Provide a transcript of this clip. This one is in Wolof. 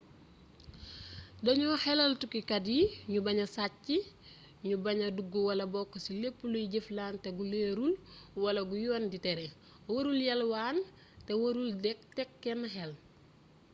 dañu xelal tukkikat yi ñu baña sàcc ñu baña dugg wala bokk ci lépp luy jëflante gu leerul wala gu yoon di tere warul yalwaan te warul teg kenn xel